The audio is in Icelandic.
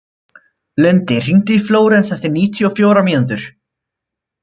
Lundi, hringdu í Flóres eftir níutíu og fjórar mínútur.